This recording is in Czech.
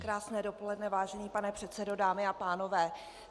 Krásné dopoledne, vážený pane předsedo, dámy a pánové.